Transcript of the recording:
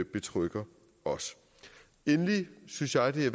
betrygger os endelig synes jeg det